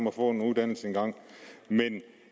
at få en uddannelse engang men